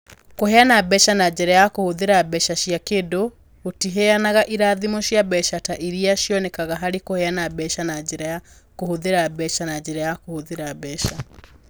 Kũheana mbeca na njĩra ya kũhũthĩra mbeca cia kĩndũ gũtiheanaga irathimo cia mbeca ta iria cionekaga harĩ kũheana mbeca na njĩra ya kũhũthĩra mbeca na njĩra ya kũhũthĩra mbeca.